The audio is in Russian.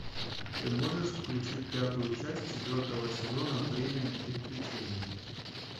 ты можешь включить пятую часть четвертого сезона время приключений